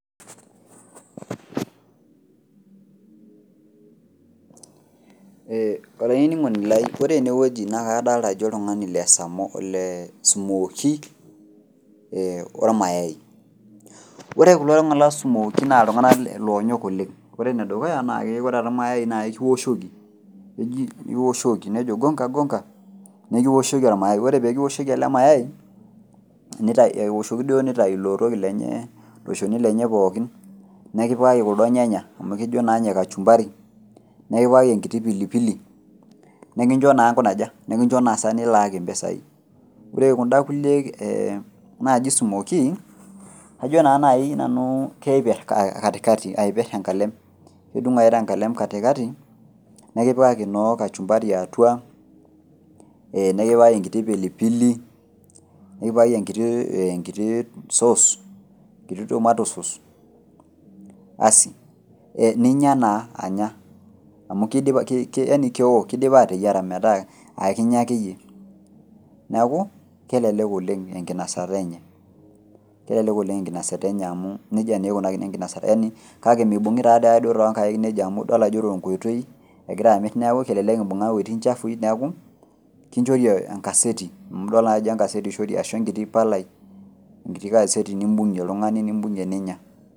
Olaininingoni lai, ore enewuji naa kadolita ajo oltungani le smooki ormayai. Ore kulotunganak le smooki naa iltunganak loonyok oleng. Ore enedukuya naa ore ormayai naa ekiwoshoki. Nejo gonga gonga. Ekiwoshoki ormayai. Ore peyie kiwoshoki ele mayai nikintakie ilo shoni lenye pookin, nikipikaki kuldo nyanya amu kejo naa ninye kachumbari nikipikaki enkiti pili pili, nikincho naa nkunaja? Nikincho inasa nilaaki impisai. Ore kundakulie naaji smooki, kajo naa naji nanu keiper kati kati tenkalem. Kedung ake tenkalem kati kati nikipikaki noo kachumbari atua nikipikaki enkiti pili pili, nikipikaki enkiti tomatoe souse basi ninya naa anaya. Amu kewuo, keidipa ateyiara naaekinya akeyie. Niaku kelelek okeng enkinasata enye amu nejia naa eikunakini enkinasata. Kake imeibungi taadoi ake too nkaik nejia amu idol ajo tenkoitoi egira amir niaku kelelek imbunga iwejitin shafui niaku kichokri enkaseri ashu enkiti palai nimbugie oltungani ninya